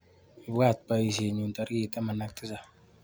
Ibwatwa boisienyu tarik taman ak mut.